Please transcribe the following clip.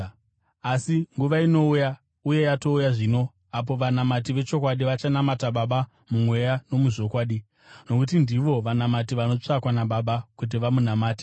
Asi nguva inouya uye yatouya zvino apo vanamati vechokwadi vachanamata Baba mumweya nomuzvokwadi, nokuti ndivo vanamati vanotsvakwa naBaba kuti vamunamate.